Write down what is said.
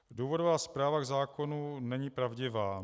Důvodová zpráva k zákonu není pravdivá.